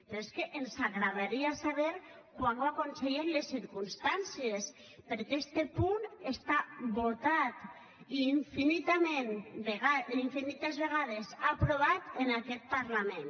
però és que ens agradaria saber quan ho aconsellen les circumstàncies perquè este punt està votat i infinitament infinites vegades aprovat en aquest parlament